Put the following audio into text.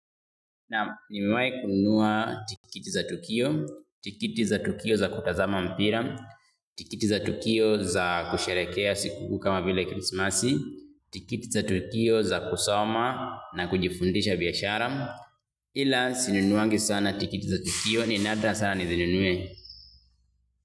Na nimewai kunnuua tikiti za tukio, tikiti za tukio za kutazama mpira, tikiti za tukio za kusharekea siku kama vila Krismasi, tikiti za tukio za kusoma na kujifundisha biyashara. Ila sinunuangi sana tikiti za tukio ni nadra sana nizinunuwe.